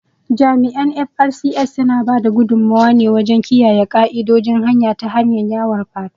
Jami’an "FRSC", suna ba da gudummuwa wajen kiyaye ka’idojin hanya ta hanyar yawon fatrol